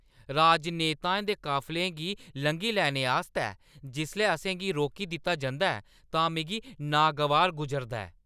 राजनेताएं दे काफले गी लंघी लैने आस्तै जिसलै असें गी रोकी दित्ता जंदा ऐ तां मिगी नागवार गुजरदा ऐ।